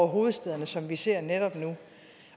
hovedstæderne som vi ser netop nu